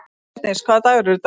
Bjarndís, hvaða dagur er í dag?